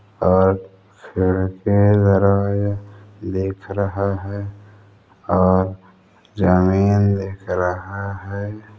और खिड़कीदरवाजा दिख रहा हैं और ज़मीन दिख रहा हैं।